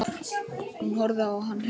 Hún horfði á hann hissa.